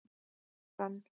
Hrönn